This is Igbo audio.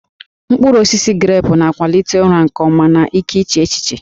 Mkpụrụ osisi grepụ na-akwalite ụra nke ọma na ike iche echiche